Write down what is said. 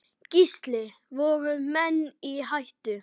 Gísli: Voru menn í hættu?